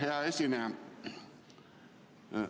Hea esineja!